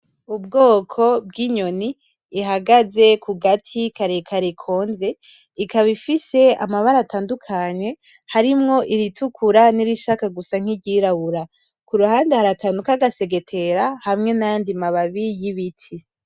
Ubwoko bw'inyoni ihagaze ku gati karekare konze ikaba ifise amabara atandukanye harimwo iritukura nirishaka gusa n'iryirabura kuruhande hari akantu kagasegetera hamwe n'ayandi mababi y'ibiti.